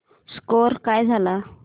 score काय झाला